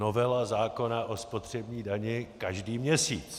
Novela zákona o spotřební dani každý měsíc.